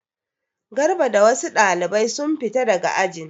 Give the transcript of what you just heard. Garba da wasu ɗalibai sun fita daga ajin.